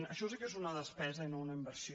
això sí que és una despesa i no una inversió